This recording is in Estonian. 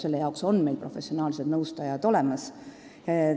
Selle jaoks on meil professionaalsed nõustajad olemas.